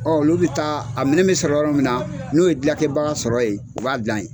Ɔ olu bɛ taa a minɛ bɛ sɔrɔ yɔrɔ min na n'o ye dilankɛbaga sɔrɔ yen u b'a dilan yen.